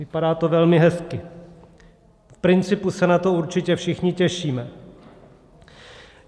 Vypadá to velmi hezky, v principu se na to určitě všichni těšíme.